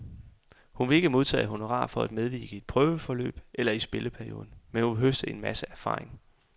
Hun vil ikke modtage honorar for at medvirke i prøveforløb eller i spilleperioden, men hun vil høste en masse erfaring.